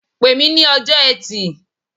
Pe mi ní ọjọ́ Ẹtì.